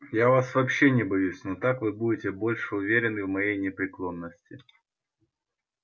я вас вообще не боюсь но так вы будете больше уверены в моей непреклонности